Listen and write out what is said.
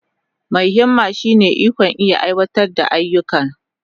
Mai himma shine ikon iya aiwatar da ayyuka.